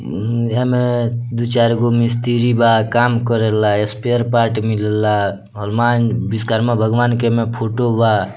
उम्म एहे में दू चार गो मिस्त्री बा काम करेला स्पेयर पार्ट्स मिलेला हनुमान विश्वकर्मा भगवान के एमे फोटो बा।